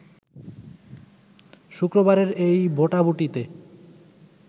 শুক্রবারের এই ভোটাভুটিতে